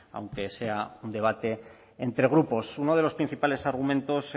aunque sea un debate entre grupos uno de los principales argumentos